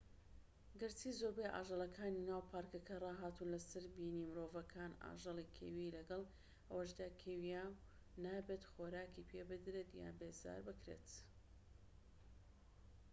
گەرچی زۆربەی ئاژەڵەکانی ناو پارکەکە ڕاهاتوون لە سەر بینی مرۆڤەکان ئاژەڵی کێوی لەگەڵ ئەوەشدا کێویە و نابێت خۆراکی پێ بدرێت یان بێزار بکرێت